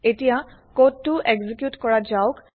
এতিয়া কোডটো এক্সেকিউত কৰা যাওক